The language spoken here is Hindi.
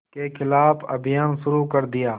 के ख़िलाफ़ अभियान शुरू कर दिया